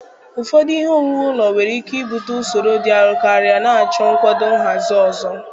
Ụfọdụ ihe owuwu ụlọ nwere ike ibute usoro dị arọ karị, na-achọ nkwado nhazi ọzọ.